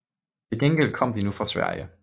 Til gengæld kom de nu fra Sverige